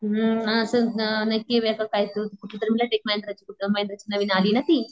अंम कुठली तरी म्हंटलं महिंद्राची नवीन आलीय ना ती.